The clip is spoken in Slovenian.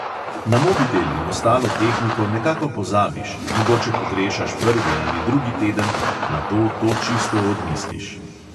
Na mobitel in ostalo tehniko nekako pozabiš, mogoče pogrešaš prvi ali drugi teden, nato to čisto odmisliš.